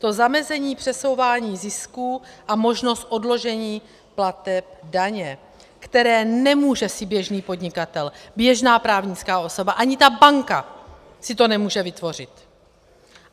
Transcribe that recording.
To zamezení přesouvání zisků a možnost odložení plateb daně, které nemůže si běžný podnikatel, běžná právnická osoba, ani ta banka si to nemůže vytvořit.